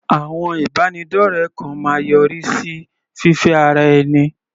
Àwọn ìbánidọ́rẹ kan máa yọrí sí fífẹ́ ara ẹni.